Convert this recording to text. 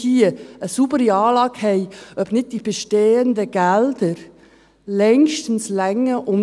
Bevor wir hier keine saubere Anlage haben und wissen, ob nicht die bestehenden Gelder längstens reichen ...